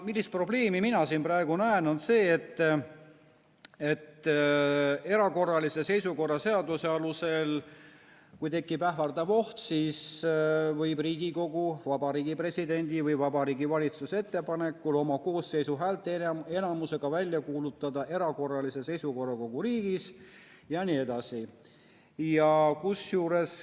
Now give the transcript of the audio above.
Probleem, mida mina siin praegu näen, on see, et erakorralise seisukorra seaduse alusel, kui tekib ähvardav oht, siis võib Riigikogu Vabariigi Presidendi või Vabariigi Valitsuse ettepanekul oma koosseisu häälteenamusega välja kuulutada erakorralise seisukorra kogu riigis jne.